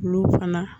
Olu fana